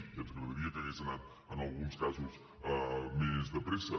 ja ens agradaria que hagués anat en alguns casos més de pressa